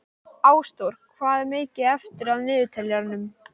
Ásþór, hvað er mikið eftir af niðurteljaranum?